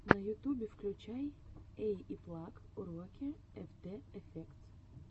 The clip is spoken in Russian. на ютубе включай эйиплаг уроки эфтэ эфектс